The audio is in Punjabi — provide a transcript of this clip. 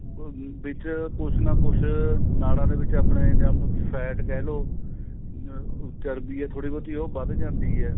ਅਹ ਵਿੱਚ ਕੁੱਝ ਨਾ ਕੁੱਝ ਨਾੜਾ ਦੇ ਵਿੱਚ ਆਪਣੇਂ ਜਾਂ fat ਕਹਿਲੋ ਅਹ ਚਰਬੀ ਏ ਥੋੜੀ ਬਹੁਤੀ ਉਹ ਵੱਧ ਜਾਂਦੀ ਏ